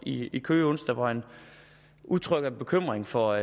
i i køge onsdag hvor han udtrykker bekymring for